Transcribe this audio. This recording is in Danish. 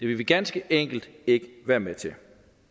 vil vi ganske enkelt ikke være med til